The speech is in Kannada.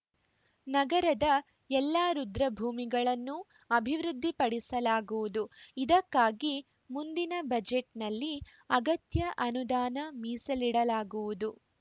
ನಗರದ ಎಲ್ಲ ರುದ್ರಭೂಮಿಗಳನ್ನೂ ಅಭಿವೃದ್ಧಿಪಡಿಸಲಾಗುವುದು ಇದಕ್ಕಾಗಿ ಮುಂದಿನ ಬಜೆಟ್‌ನಲ್ಲಿ ಅಗತ್ಯ ಅನುದಾನ ಮೀಸಲಿಡಲಾಗುವುದು